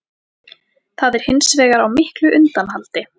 Það er hins vegar á miklu undanhaldi